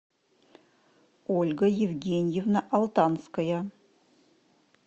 ольга евгеньевна алтанская